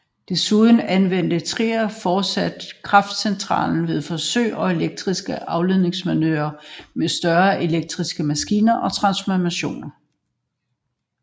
Desuden anvendte Thrige fortsat kraftcentralen ved forsøg og elektriske afleveringsprøver med større elektriske maskiner og transformatorer